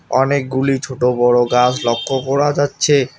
অনেকগুলি ছোট বড় গাছ লক্ষ করা যাচ্ছে।